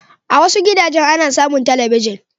A wasu gidajen ana samun talabijin.